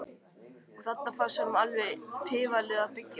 Og þarna fannst honum alveg tilvalið að byggja.